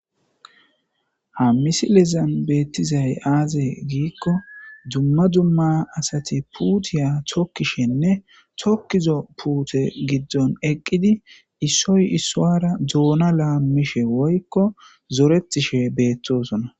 Ha misilezan betizay aaze gikon dumma dumma asati puutiya tokishennne tokizo puute gidoni eqidi issoyi issuwara dosona malishe woyko zoretishe betosona .